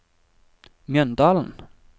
Mjøndalen